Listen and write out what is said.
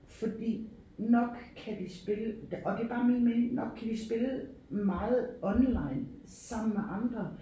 Fordi nok kan de spille og det er bare min mening nok kan de spille meget online sammen med andre